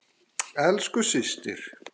Elsku systir.